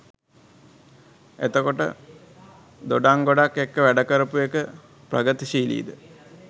එතකොට දොඩංගොඩත් එක්ක වැඩ කරපු එක ප්‍රගිතිශීලි ද?